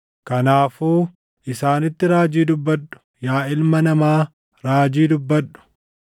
Kanaafuu isaanitti raajii dubbadhu; yaa ilma namaa raajii dubbadhu.”